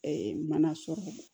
mana sɔrɔ